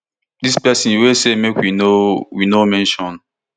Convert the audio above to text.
dis pesin wey say make we no we no mention